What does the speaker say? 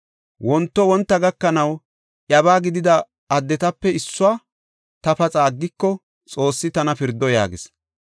Wonto wonta gakanaw, iyabaa gidida addetape issuwa ta paxa aggiko, Xoossi tana pirdo” yaagis.